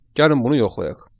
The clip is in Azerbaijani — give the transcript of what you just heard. Gəlin bunu yoxlayaq.